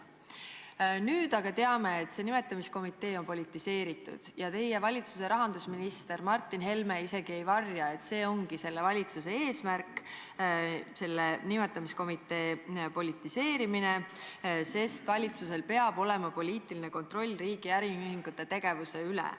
" Nüüd aga teame, et see nimetamiskomitee on politiseeritud ja teie valitsuse rahandusminister Martin Helme isegi ei varja, et see ongi selle valitsuse eesmärk, selle nimetamiskomitee politiseerimine, sest valitsusel peab olema poliitiline kontroll riigi äriühingute tegevuse üle.